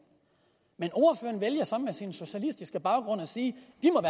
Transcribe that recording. men ordføreren vælger så med sin socialistiske baggrund at sige